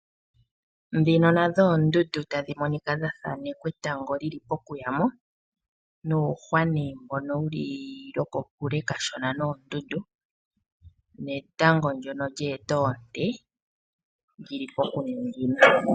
Ndhino nadho oondundu tadhi monika dha thanekwa etango li li pokuyamo . Nuuhwa nee wuli loko kule kashona noondundu netango ndyono lye eta oonte li li pokuningina.